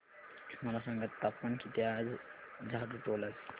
मला सांगा तापमान किती आहे आज झाडुटोला चे